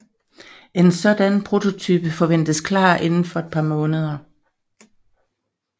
En sådan prototype forventedes klar inden for et par måneder